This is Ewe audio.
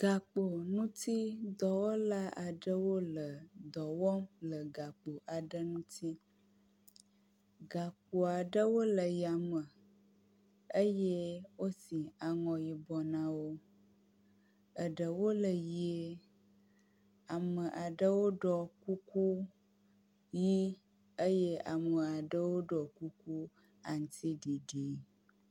Gakpo ŋuti dɔwɔla aɖewo le dɔ wɔm le gakpo aɖe ŋuti. Gakpo aɖewo le yame eye wosi aŋɔ yibɔ na wo. Eɖewo le ʋie. Ame aɖewo ɖɔ kuku ʋi eye ame aɖewo ɖɔ kuku aŋutiɖiɖi.